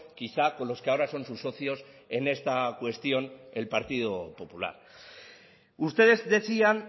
quizá con los que ahora son sus socios en esta cuestión el partido popular ustedes decían